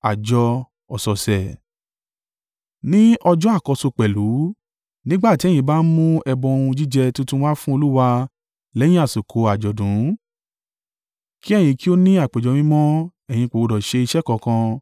“ ‘Ní ọjọ́ àkọ́so pẹ̀lú, nígbà tí ẹ̀yin bá mú ẹbọ ohun jíjẹ tuntun wá fún Olúwa lẹ́yìn àsìkò àjọ̀dún, kí ẹ̀yin kí ó ní àpéjọ mímọ́, ẹ̀yin kò gbọdọ̀ ṣe iṣẹ́ kankan.